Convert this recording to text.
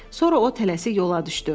Sonra o tələsik yola düşdü.